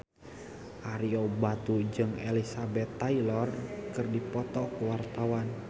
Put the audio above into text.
Ario Batu jeung Elizabeth Taylor keur dipoto ku wartawan